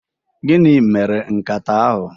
Gịnị mere nkata ahụ?